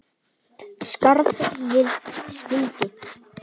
Skarð fyrir skildi.